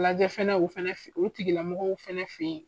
Lajɛ fɛnɛ o fɛnɛ fɛ yen o tigilamɔgɔw fɛnɛ fɛ yen.